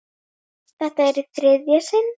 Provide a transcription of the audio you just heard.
Þetta er í þriðja sinn.